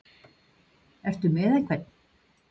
Ertu með einhvern?